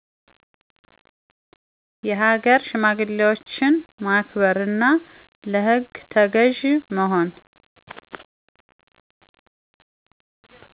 የሃገር ሽማግሌዎችን ማክበር፣ እና ለህግ ተገዥ መሆን።